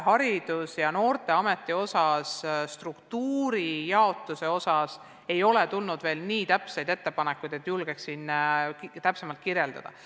Haridus- ja Noorteameti struktuuri jaotuse kohta ei ole veel tulnud nii täpseid ettepanekuid, et julgeksin neid tutvustada.